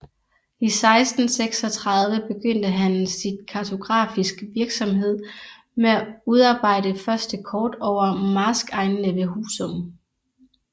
I 1636 begyndte han sin kartografisk virksomhed med at udarbejde første kort over marskegnene ved Husum